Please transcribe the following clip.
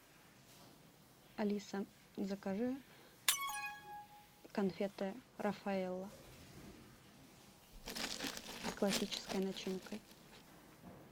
алиса закажи конфеты рафаэлло с классической начинкой